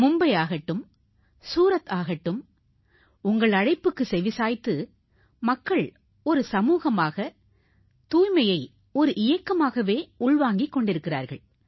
மும்பையாகட்டும் சூரத் ஆகட்டும் உங்கள் அழைப்புக்கு செவிசாய்த்து மக்கள் சமூகமாக தூய்மையை இயக்கமாகவே உள்வாங்கிக் கொண்டிருக்கிறார்கள்